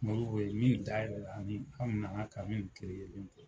Modibo ye min dayɛlɛ ani an nana ka min to